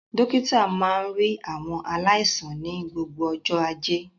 Dókítà máa ń rí àwọn aláìsàn ní gbogbo ọjọ́ Ajé.